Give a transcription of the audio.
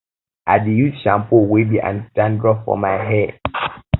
i dey use shampoo wey be anti dandruff for my hair my hair